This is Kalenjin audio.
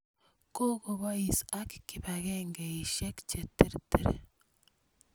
Koko pois ak kipakengeisyek che ter ter.